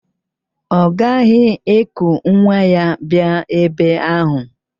Ọ gaghị eku nwa ya bịa ebe ahụ